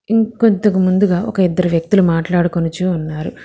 ఇంకొద్దుగ ముందుగా ఒక ఇద్దరు వ్యక్తులు మాట్లాడుకునుచూ ఉన్నారు.